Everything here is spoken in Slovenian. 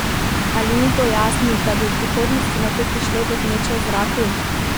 Ali ni bojazni, da bi v prihodnosti nato prišlo do gneče v zraku?